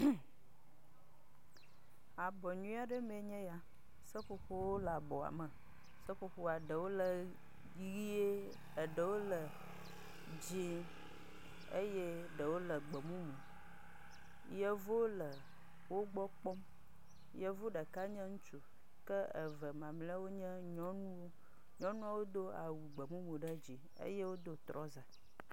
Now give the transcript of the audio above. HummƐ Abɔ nyuie aɖe mee nye ya. Seƒoƒowo wòle abɔa me. Seƒoƒoa ɖe wo ʋie, eɖewo le dzɛ̃e eye eɖe wòle gbemumu. Yevuwo le wo gbɔ kpɔm. Yevu ɖeka nye ŋutsu ke eve mamlɛwo nye nyɔnuwo. Nyɔnuawo do awu gbemumu ɖe dzime eye wodo trɔza.